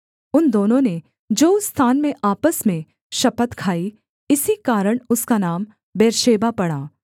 उन दोनों ने जो उस स्थान में आपस में शपथ खाई इसी कारण उसका नाम बेर्शेबा पड़ा